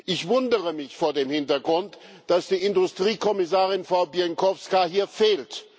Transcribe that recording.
Ich wundere mich vor dem Hintergrund, dass die Industriekommissarin Frau Bieńkowska hier fehlt.